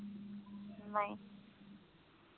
ਨਹੀਂ